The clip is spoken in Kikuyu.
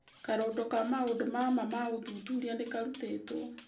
Karũndo ka maũndũ ma maa ma ũthuthuria nĩ karutĩtwo